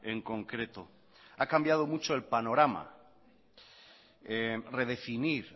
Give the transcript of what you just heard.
en concreto ha cambiado mucho el panorama redefinir